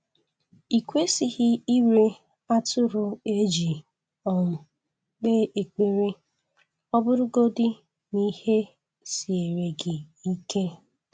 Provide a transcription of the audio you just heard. I kwesịghị ire atụrụ e ji um kpee ekpere, ọ bụrụgodị n'ihe siere gị ike